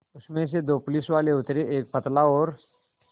उसमें से दो पुलिसवाले उतरे एक पतला और